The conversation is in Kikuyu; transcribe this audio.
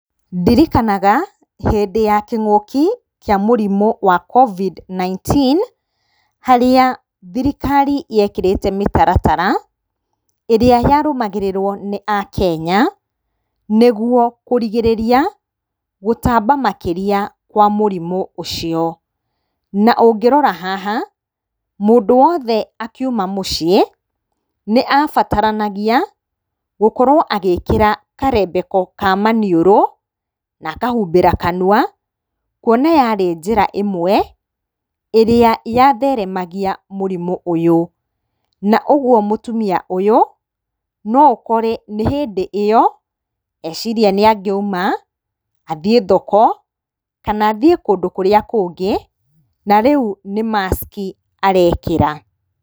Ndirikanaga hĩndĩ ya kĩmuki kĩa mũrimũ wa Covid-19 harĩa thirikari yekĩrĩte mĩtaratara ĩrĩa yarũgamagĩrĩrwo nĩ akenya nĩguo kũrigĩrĩria gũtamba makĩria kwa mũrimũ ũcio. Na ũngĩrona haha mũndũ wothe akiuma mũciĩ nĩabataranagia gũkorwo agĩkĩra karembeko ka maniũrũ na akahumbĩra kanua kuona yarĩ njĩra ĩmwe ĩrĩa yatheremagia mũrimũ ũyũ. Na ũguo mũtumia ũyũ no ũkore nĩ hĩndĩ ĩyo eciria nĩangĩauma athiĩ thoko kana athiĩ kũndũ kũrĩa kũngĩ na rĩu nĩ maski arekĩra.